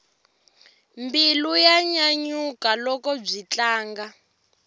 mbilu ya nyanyuka loko byi tlanga